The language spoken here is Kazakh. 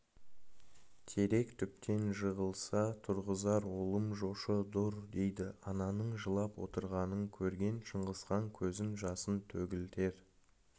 терек түптен жығылса тұрғызар олым жошы дұр дейді ананың жылап отырғанын көрген шыңғысхан көзің жасын төгілтер